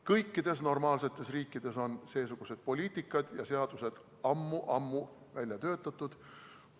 Kõikides normaalsetes riikides on seesugused poliitikad ja seadused ammu-ammu välja töötatud.